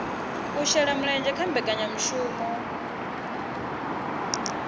u shela mulenzhe kha mbekanyamushumo